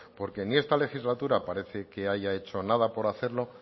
porque ni esta legislatura parece que haya hecho nada por hacerlo